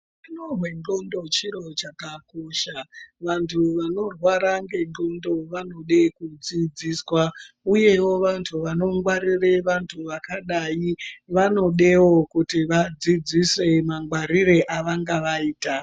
Utano hwendxondo chiro chakakosha vantu vanorwara nendxondo vanode kudzidziswa uyewo vantu vanongware vantu vakadai vanodewo kuti vadzidzise mangwarire evangavaita.